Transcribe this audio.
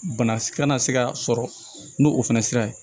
Bana kana se ka sɔrɔ n'o o fana sera